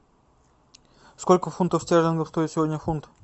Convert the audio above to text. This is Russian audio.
сколько фунтов стерлингов стоит сегодня фунт